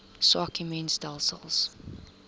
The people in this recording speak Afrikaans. swak immuun stelsels